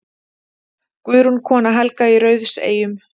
Guðrún, kona Helga í Rauðseyjum.